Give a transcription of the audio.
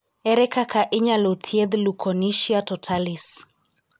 Ere kaka inyalo thiedh leukonychia totalis?